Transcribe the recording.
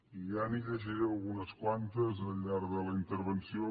i ja li’n llegiré algunes quantes al llarg de la intervenció